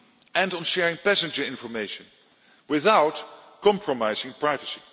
And on sharing passenger information without compromising privacy.